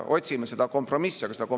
Otsime seda kompromissi!